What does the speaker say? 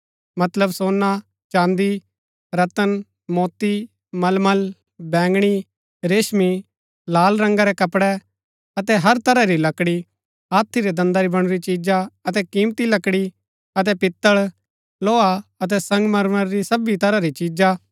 मतलब सोना चाँदी रत्‍न मोती मलमल बैंगणी रेशमी लाल रंगा रै कपड़ै अतै हर तरह री लकड़ी हाथी रै दन्दा री बणुरी चिजा अतै कीमती लकड़ी अतै पीतल लोहा अतै संगमरमर री सबी तरह री चिजा